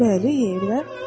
Bəli, yeyirlər.